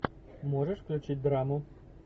можешь включить драму